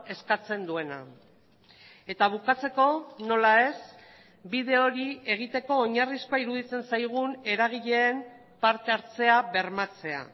eskatzen duena eta bukatzeko nola ez bide hori egiteko oinarrizkoa iruditzen zaigun eragileen parte hartzea bermatzea